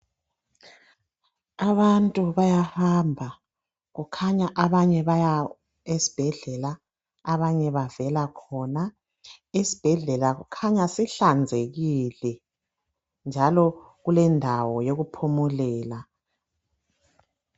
Abantu bayahamba kukhanya abanye baya esibhedlela abanye bavela khona. Isibhedlela kukhanya sihlanzekile njalo kulendawo yoku phumulela.